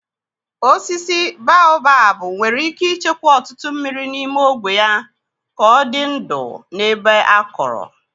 Osisi baobab nwere ike ịchekwa ọtụtụ mmiri n'ime ogwe ya ka ọ dị ndụ n'ebe akọrọ.